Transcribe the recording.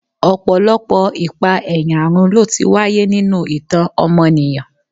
Ọ̀pọ̀lọpọ̀ ìpa-ẹ̀yà run ló ti wáyé nínú ìtàn ọmọnìyàn.